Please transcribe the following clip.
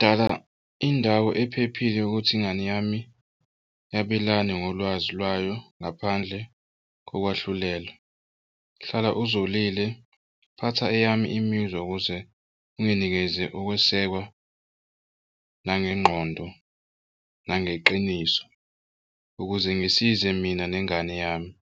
Dala indawo ephephile ukuthi ingane yami yabelane ngolwazi lwayo ngaphandle kokwahlulela. Hlala uzolile phatha eyami imizwa ukuze unginikeze ukwesekwa nangengqondo, nangeqiniso ukuze ngisize mina nengane yami.